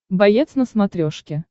боец на смотрешке